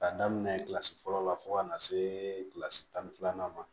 K'a daminɛ kilasi fɔlɔ la fo ka na se kilasi tan ni filanan ma